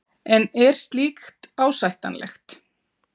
En er slíkt ásættanlegt?